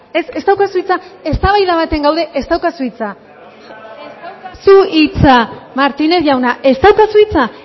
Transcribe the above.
ez ez daukazu hitza eztabaida batean gaude ez daukazu hitza ez daukazu hitza martínez jauna ez daukazu hitza